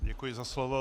Děkuji za slovo.